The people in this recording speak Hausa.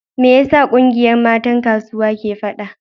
Me yasa kungiyar matan kasuwa ke fada?